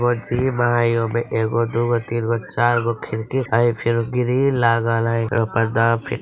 वह जिम हई | ओमे एगो दूगो तीनगो चारगो खिड़की हई फिर ग्रील लागल हई |